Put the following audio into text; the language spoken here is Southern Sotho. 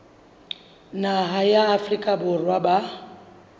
naha ya afrika borwa ba